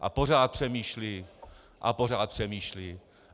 A pořád přemýšlí a pořád přemýšlí.